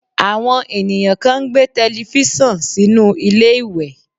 Àwọn ènìyàn kan ń gbé tẹlifísàn sínú ilé ìwẹ̀